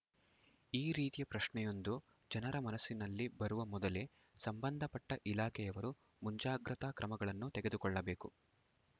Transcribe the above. ಈ ರೀತಿಯ ಪ್ರಶ್ನೆಯೊಂದು ಜನರ ಮನಸ್ಸಿನಲ್ಲಿ ಬರುವ ಮೊದಲೇ ಸಂಬಂಧಪಟ್ಟಇಲಾಖೆಯವರು ಮುಂಜಾಗ್ರತಾ ಕ್ರಮಗಳನ್ನು ತೆಗೆದುಕೊಳ್ಳಬೇಕು